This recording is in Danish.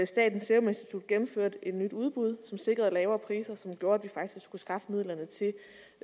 statens serum institut gennemførte et nyt udbud som sikrede lavere priser som gjorde at vi faktisk kunne skaffe midlerne til